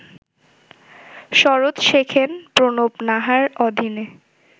সরোদ শেখেন প্রণব নাহার অধীনে